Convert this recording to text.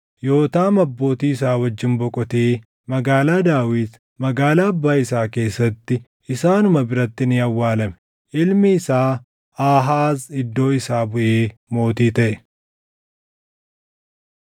Yootaam abbootii isaa wajjin boqotee Magaalaa Daawit, magaalaa abbaa isaa keessatti isaanuma biratti ni awwaalame. Ilmi isaa Aahaaz iddoo isaa buʼee mootii taʼe.